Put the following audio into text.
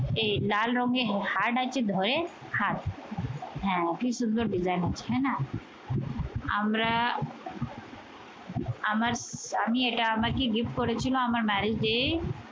এই লাল রঙের heart আছে ধরে কি সুন্দর design আছে হ্যাঁ না? আমরা আমার আমি এটা আমাকে gift করেছিল আমার marriage day